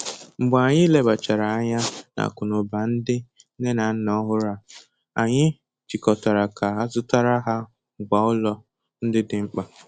Mgbe anyị lebachara ányá n'akunauba ndị nne na nna ọhụrụ a, anyị chịkọtara ka azụtara ha ngwa ụlọ ndị dị mkpa.